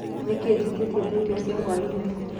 Nĩkĩĩ njĩtĩĩtĩe taĩrĩo cĩa hwaĩnĩ